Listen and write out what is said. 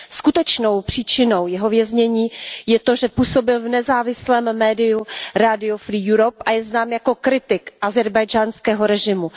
Skutečnou příčinou jeho věznění je to, že působil v nezávislém médiu rádio a je znám jako kritik ázerbájdžánského režimu.